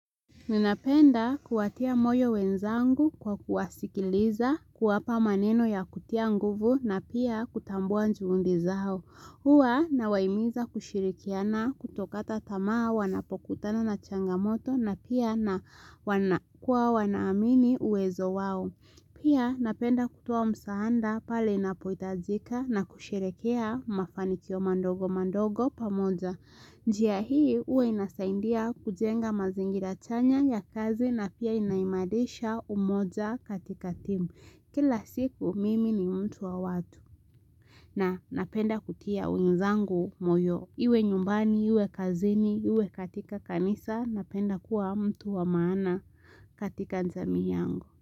Ninapenda kuatia moyo wenzangu kwa kuwasikiliza kuwapa maneno ya kutia nguvu na pia kutambua juhundi zao. Uwa na wahimiza kushirikiana kutokata tamaa wanapokutana na changamoto na pia na kuwa wanaamini uwezo wao. Pia napenda kutoa msaanda pale napohitajika na kusherekea mafanikio mandogo mandogo pamoja. Njiya hii huwa inasaindia kujenga mazingira chanya ya kazi na pia inaimalisha umoja katika timu. Kila siku mimi ni mtu wa watu. Na napenda kutia wezangu moyo. Iwe nyumbani, iwe kazini, iwe katika kanisa, napenda kuwa mtu wa maana katika jaami yangu.